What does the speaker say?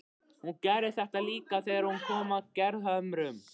Hún gerði þetta líka þegar hún kom að Gerðhömrum.